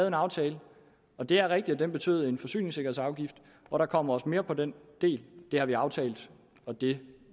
en aftale og det er rigtigt at den betyder en forsyningssikkerhedsafgift og der kommer også mere på den del det har vi aftalt og det